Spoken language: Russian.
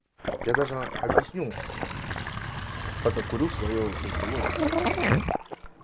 я даже объясню пока курю своё как бы логику